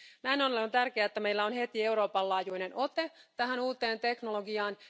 Näin ollen on tärkeää, että meillä on heti Euroopan laajuinen ote tähän uuteen teknologiaan.